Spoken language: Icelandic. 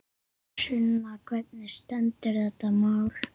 Sunna, hvernig stendur þetta mál?